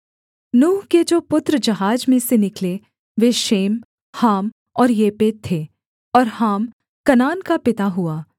नूह के जो पुत्र जहाज में से निकले वे शेम हाम और येपेत थे और हाम कनान का पिता हुआ